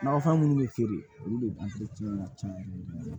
Nakɔfɛn minnu bɛ feere olu de ka ca